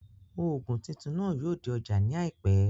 Òògùn titun náà yóò dé ọjá ní àìpẹ́